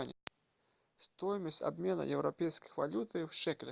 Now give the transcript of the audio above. стоимость обмена европейской валюты в шекели